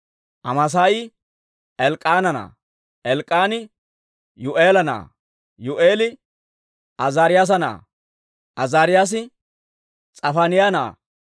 Amaasaayi Elk'k'aana na'aa; Elk'k'aani Yuu'eela na'aa; Yuu'eeli Azaariyaasa na'aa; Azaariyaasi S'afaaniyaa na'aa;